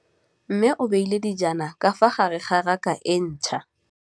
Mmê o beile dijana ka fa gare ga raka e ntšha.